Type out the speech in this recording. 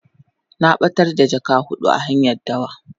Na batar da jaka hudun a hanyan dawa.